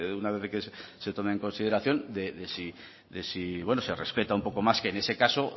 una vez de que se tome en consideración de si se respeta un poco más que en ese caso